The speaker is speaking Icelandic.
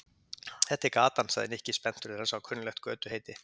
Þetta er gatan sagði Nikki spenntur þegar hann sá kunnuglegt götuheiti.